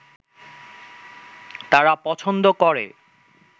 তারা পছন্দ করে